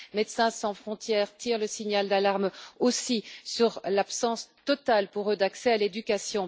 Médecins sans frontières tire le signal d'alarme aussi sur l'absence totale, pour eux, d'accès à l'éducation.